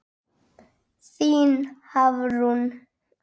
Þín Hafrún.